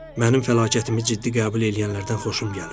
Mənim fəlakətimi ciddi qəbul eləyənlərdən xoşum gəlir.